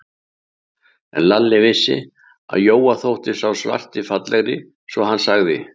En Lalli vissi, að Jóa þótti sá svarti fallegri, svo hann sagði